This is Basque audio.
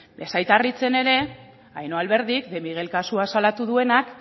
ez zait harritzen ere ainhoa alberdik de miguel kasua salatu duenak